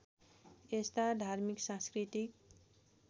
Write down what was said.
यस्ता धार्मिक सांस्कृतिक